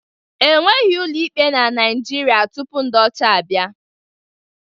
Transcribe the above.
O nweghị ụlọ ikpe na Naịjirịa tupu ndị ọcha abịa